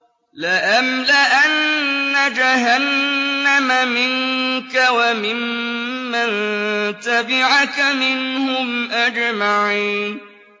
لَأَمْلَأَنَّ جَهَنَّمَ مِنكَ وَمِمَّن تَبِعَكَ مِنْهُمْ أَجْمَعِينَ